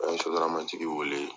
A ye sotaramatigi weele